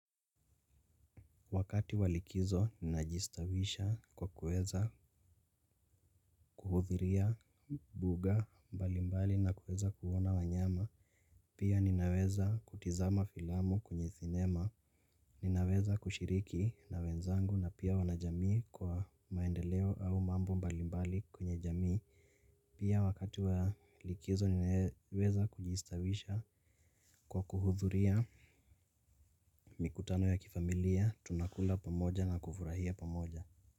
Wakati walikizo ninajistawisha, kwa kueza kuhudhuria mbuga mbalimbali na kueza kuona wanyama. Pia ninaweza kutizama filamu kwenye sinema. Ninaweza kushiriki na wenzangu na pia wanajamii, kwa maendeleo au mambo mbalimbali kwenye jamii. Pia wakati walikizo ninaweza kujistawisha kwa kuhudhiria mikutano ya kifamilia, tunakula pamoja na kufurahia pamoja.